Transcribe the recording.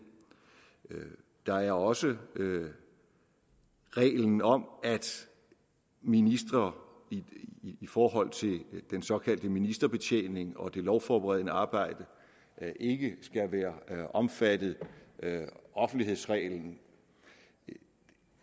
der er også reglen om at ministre i forhold til den såkaldte ministerbetjening og det lovforberedende arbejde ikke skal være omfattet af offentlighedsreglen